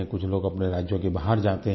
कुछ लोग अपने राज्यों से बाहर जाते हैं